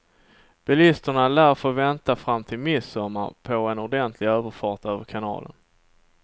Bilisterna lär få vänta fram till midsommar på en ordentlig överfart över kanalen.